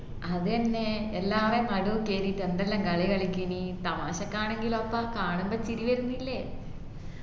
അതെന്നെ എല്ലാരും മാറാം കേറീട്ട് എന്തെല്ലാം കളി കളിച്ചിന് തമാഷക്കാണെങ്കില് അപ്പ കാണുമ്പോ ചിരി വരുന്നില്ലേ